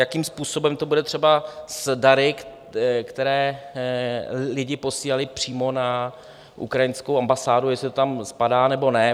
Jakým způsobem to bude třeba s dary, které lidi posílali přímo na ukrajinskou ambasádu, jestli to tam spadá, nebo ne?